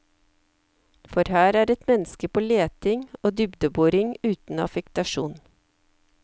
For her er et menneske på leting og dybdeboring uten affektasjon.